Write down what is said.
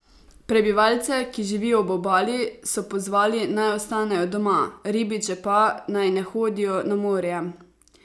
Prebivalce, ki živijo ob obali, so pozvali, naj ostanejo doma, ribiče pa, naj ne hodijo na morje.